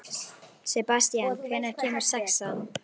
Sebastían, hvenær kemur sexan?